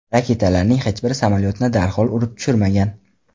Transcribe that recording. Raketalarning hech biri samolyotni darhol urib tushirmagan.